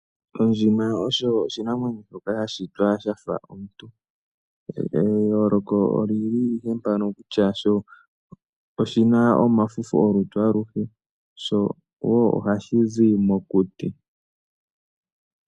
Ondjima oyo oshinamwenyo shoka sha shitwa shafa omuntu. Eyoloko oli li ike mpano kutya sho oshina omafufu olutu aluhe showo ohashi zi mokuti.